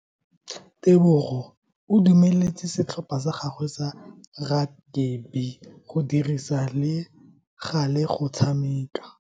Tebogo o dumeletse setlhopha sa gagwe sa rakabi go dirisa le gale go tshameka.